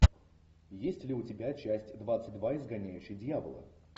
есть ли у тебя часть двадцать два изгоняющий дьявола